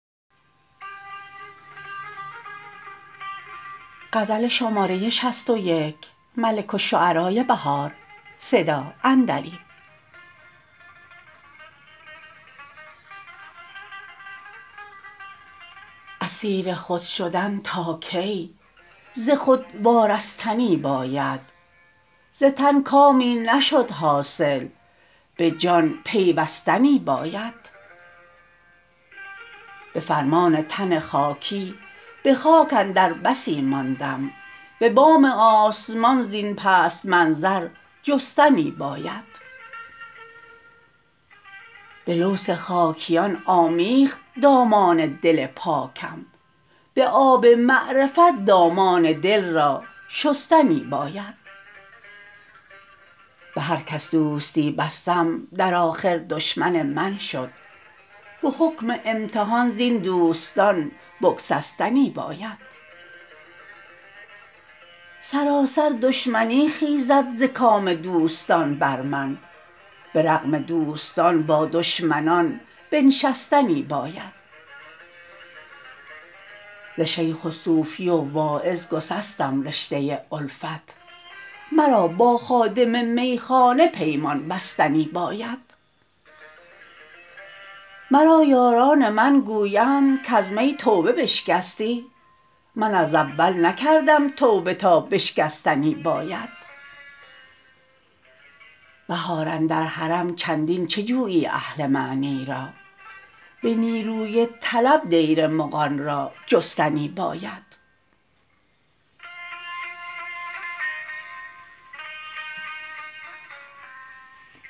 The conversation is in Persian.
اسیر خود شدن تا کی ز خود وارستنی باید زتن کامی نشد حاصل به جان پیوستنی باید به فرمان تن خاکی به خاک اندر بسی ماندم به بام آسمان زین پست منظر جستنی باید به لوث خاکیان آمیخت دامان دل پاکم به آب معرفت دامان دل را شستنی باید به هر کس دوستی بستم در آخر دشمن من شد به حکم امتحان زین دوستان بگسستنی باید سراسر دشمنی خیزد زکام دوستان بر من به رغم دوستان با دشمنان بنشستنی باید ز شیخ و صوفی و واعظ گسستم رشته الفت مرا با خادم میخانه پیمان بستنی باید مرا یاران من گویند کز می توبه بشکستی من از اول نکردم توبه تا بشکستنی باید بهار اندر حرم چندین چه جویی اهل معنی را به نیروی طلب دیرمغان را جستنی باید